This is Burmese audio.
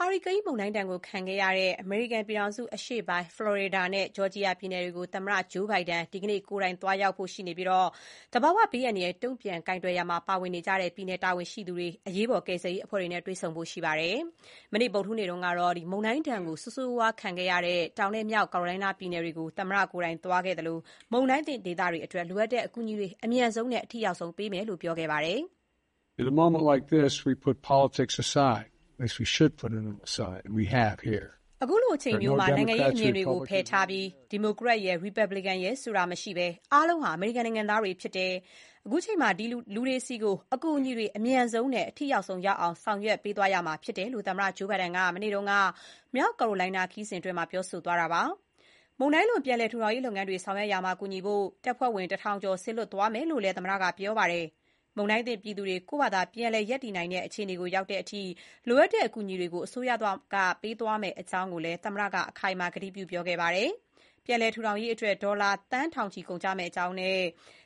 ဟာရီကိန်းမုန်တိုင်းဒဏ်ခံခဲ့ရတဲ့ အမေရိကန် အရှေ့တောင်ပိုင်း ဖလော်ရီဒါနဲ့ ဂျော်ဂျီယာပြည်နယ်တွေကို သမ္မတ ဂျိုးဘိုင်ဒန် ဒီကနေ့ ကိုယ်တိုင်သွားရောက်ပြီး သဘာဝဘေး အန္တရာယ် တုံ့ပြန်ကိုင်တွယ်ရာမှာ ပါဝင်နေတဲ့ ပြည်နယ် တာဝန်ရှိသူတွေနဲ့ အရေးပေါ် ကယ်ဆယ်ရေးအဖွဲ့တွေနဲ့ တွေ့ဆုံဖို့ရှိပါတယ်။ မနေ့ ဗုဒ္ဓဟူးနေ့ တုန်းကတော့ မုန်တိုင်းဒဏ် အဆိုးရွားဆုံးခံခဲ့ရတဲ့ တောင်နဲ့ မြောက်ကယ်ရိုလိုင်းနား ပြည်နယ်တွေကို သွားခဲ့သလို၊ မုန်တိုင်းသင့် ဒေသတွေအတွက် လိုအပ်တဲ့အကူအညီတွေ အမြန်ဆုံး ပေးနိုင်ဖို့ ကြိုးပမ်းနေတဲ့ အကြောင်း ပြောကြားခဲ့ပါတယ်။ "ခုလိုအချိန်မျိုးမှာ နိုင်ငံရေးအမြင်တွေကို ဘေးဖယ်ထားပြီး ဒီမိုကရက် ရယ်၊ ရီပတ်ဘလစ်ကန် ရယ် ဆိုတာ မရှိဘဲ အားလုံးဟာ အမေရိကန် နိုင်ငံသားတွေ ဖြစ်တယ်။ ခုချိန်မှာ လူတွေဆီကို အကူအညီတွေ အမြန်ဆုံးနဲ့ အထိရောက်ဆုံး ရောက်အောင် ဆောင်ရွက်သွားရမှာ ဖြစ်တယ်"လို့ သမ္မတ ဂျိုးဘိုင်ဒန်က မနေ့က မြောက်ကာရိုလိုင်းနား ခရီးစဥ်အတွင်း ပြောသွားတာပါ။ မုန်တိုင်းလွန် ပြန်လည်ထူထောင်ရေး လုပ်ငန်းတွေ ဆောင်ရွက်ရာမှာ ကူညီဖို့ တပ်ဖွဲ့ဝင် ၁၀၀၀ ကျော် စေလွှတ်သွားမယ်လို့လည်း သမ္မတက ပြောဆိုခဲ့ပါတယ်။ မုန်တိုင်းသင့်ပြည်သူတွေ ကိုယ့်ဖာသာ ပြန်လည်ရပ်တည် နိုင်တဲ့ အခြေအနေ ရောက်တဲ့အထိ လိုအပ်တဲ့ အကူအညီတွေကို အစိုးရ ပေးသွားမယ့် အကြောင်းကိုလည်း သမ္မတက အခိုင်အမာ ပြောသွားပါတယ်။ ပြန်လည်ထောင်ရေးအတွက် ဒေါ်လာ သန်းထောင်ချီ ကုန်ကျမယ့်အကြောင်းနဲ့